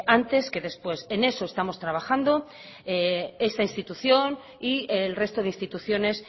antes que después en eso estamos trabajando esta institución y el resto de instituciones